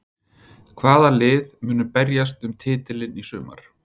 Hvaða lið munu berjast um titilinn í sumar?